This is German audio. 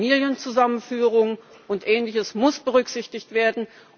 Familienzusammenführung und ähnliches muss berücksichtigt werden.